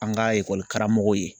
An ka karamɔgɔw ye